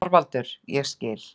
ÞORVALDUR: Ég skil.